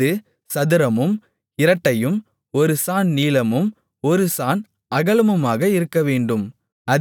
அது சதுரமும் இரட்டையும் ஒரு சாண் நீளமும் ஒரு சாண் அகலமுமாக இருக்கவேண்டும்